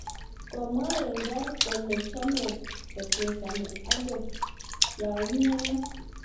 Komwa Wenger kole chame kochesani angot yaumianat